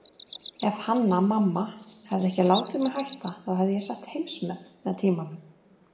Ef Hanna-Mamma hefði ekki látið mig hætta þá hefði ég sett heimsmet með tímanum.